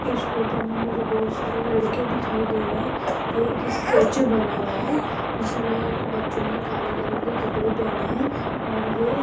इस फोटो में मुझे बहुत सारे लड़के दिखाई दे रहे हैं ये एक स्टैचू बना हुआ है जिसमे बच्चों ने काले कलर के कपड़े पहने हैं और ये --